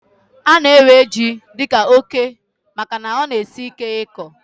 Ana ewe jị dika óké màkà na ọ na- esị ike ịkọ